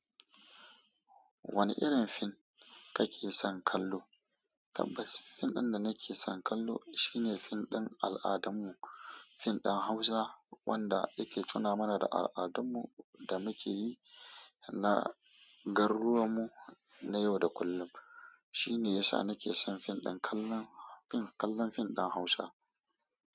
Wane irin fim kake son kallo? Tabbas fim ɗin da nake son kallo shine fim ɗin al'adun mu, fim din Hausa wanda yake tuna mana da al'adun mu da muke yi na garuwan mu na yau da kullum. Shine yasa nake son kallon fim din Hausa.